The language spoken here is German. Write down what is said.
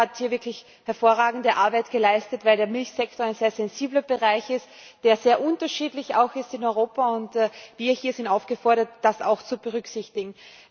Ich glaube, er hat hier wirklich hervorragende Arbeit geleistet, weil der Milchsektor ein sehr sensibler Bereich ist, der auch sehr unterschiedlich ist in Europa. Wir hier sind aufgefordert, das auch zu berücksichtigen.